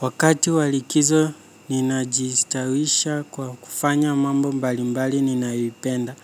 Wakati wa likizo ninajistawisha kwa kufanya mambo mbalimbali ninayoipenda.